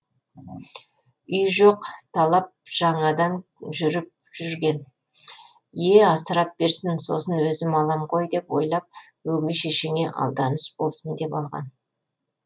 үй жоқ талап жаңадан жүріп жүрген е асырап берсін сосын өзім алам ғой деп ойлап өгей шешеңе алданыш болсын деп алған